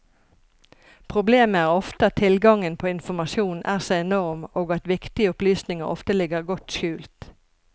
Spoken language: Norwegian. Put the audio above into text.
Problemet er ofte at tilgangen på informasjon er så enorm og at viktige opplysninger ofte ligger godt skjult.